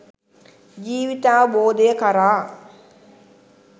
ජීවිතාවබෝධය කරා